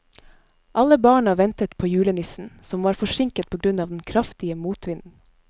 Alle barna ventet på julenissen, som var forsinket på grunn av den kraftige motvinden.